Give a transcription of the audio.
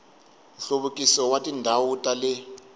nhluvukiso wa tindhawu ta le